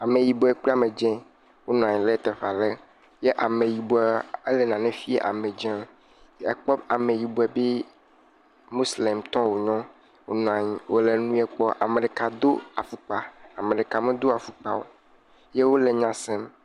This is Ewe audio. Ameyibɔ kple ame dzi wonɔ anyi ɖe teƒe aɖe ye ameyibɔ ele nane fiam ame dzie. Ekpɔ ameyibɔ be mosilemtɔ wo nye. Wo nɔ anyi wo le nu ye kpɔm. Ame ɖeka do afɔkpa, ame ɖeka medo afɔkpa o wole nya sem